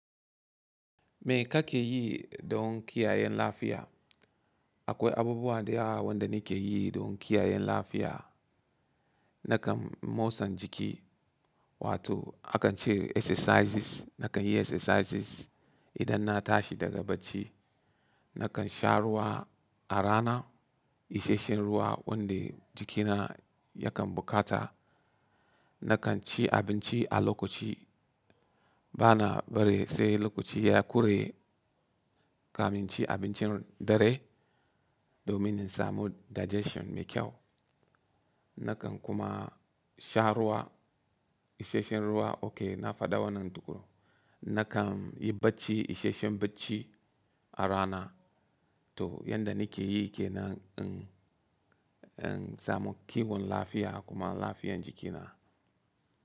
Me ka ke yi don kiyaye lafiya? Akwai abubuwa da yawa wanda ni ke yi don kiyayen lafiya. Nakan mosan jiki, wato akan ce exercises, nakan yi exercises idan na tashi daga bacci. Nakan sha ruwa a rana, isheshshen ruwa wanda jikina yakan bukata. Nakan ci abinci a lokaci, bana bari sai lokaci ya kure kamin ci abincin dare domin in samu digestion mai kyau. Nakan kuma sha ruwa, isheshshen ruwa, okay na faɗa wannan tukun. Nakan yi bacci, isheshshen bacci a rana. To, yan da ni ke yi ke nan in, in samu kiwon lafiya kuma lafiyan jikina.